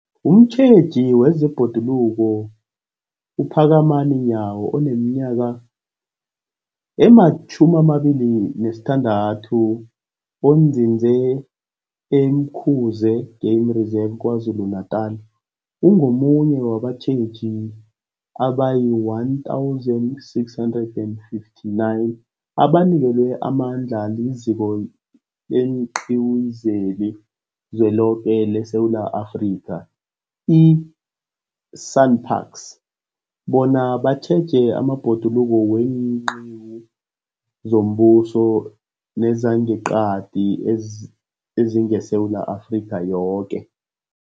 Umtjheji wezeBhoduluko uPhakamani Nyawo oneminyaka ema-26, onzinze e-Umkhuze Game Reserve KwaZulu-Natala, ungomunye wabatjheji abayi-1 659 abanikelwe amandla liZiko leenQiwu zeliZweloke leSewula Afrika, i-SANParks, bona batjheje amabhoduluko weenqiwu zombuso nezangeqadi ezingeSewula Afrika yoke.